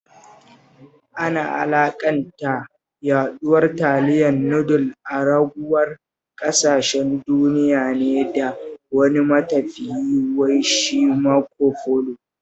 Ana alaƙanta yaɗuwar taliyar nudul a ragowar ƙasashen duniya ne da wani matafiyi wai shi Marco Polo